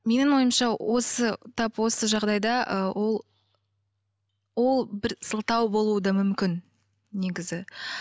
менің ойымша осы тап осы жағдайда ы ол ол бір сылтау болуы да мүмкін негізі